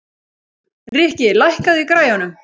Rikki, lækkaðu í græjunum.